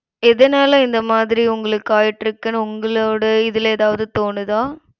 எதனால இந்த மாதிரி உங்களுக்கு ஆயிட்டுருக்குனு உங்களோட இதுல எதாவது தோணுதா